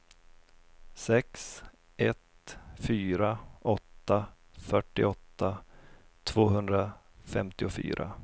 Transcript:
sex ett fyra åtta fyrtioåtta tvåhundrafemtiofyra